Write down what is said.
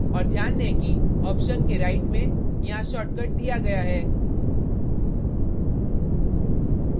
और ध्यान दें कि option के right में यहाँ shortcut दिया गया है